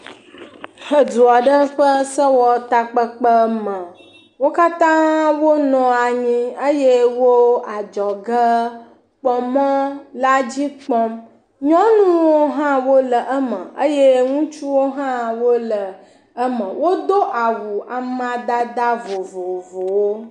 Edu aɖe ƒe sewɔtakpekpeme. Wo katã wo nɔ anyi eye wo adzɔgekpɔmɔ la dzi kpɔm. Nyɔnuwo hã wole eme eye ŋutsuwo hã wole eme. Wodo awu amadada vovovowo.